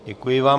Děkuji vám.